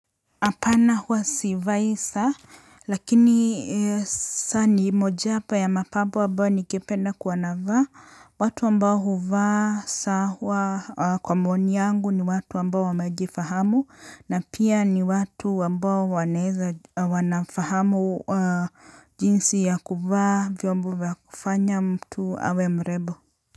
Hapana huwa sivai saa. Lakini saa ni mojawapo ya mapambo ambayo ningependa kuwa navaa. Watu ambao huvaa saa huwa kwa maoni yangu ni watu ambao wamejifahamu. Na pia ni watu ambao wanafahamu jinsi ya kuvaa vyombo vya kufanya mtu awe mrembo.